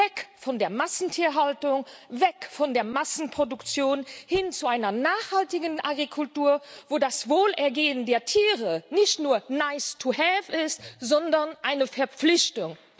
Weg von der Massentierhaltung, weg von der Massenproduktion, hin zu einer nachhaltigen Agrikultur, wo das Wohlergehen der Tiere nicht nur nice to have ist, sondern eine Verpflichtung.